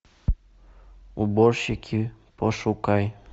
уборщики пошукай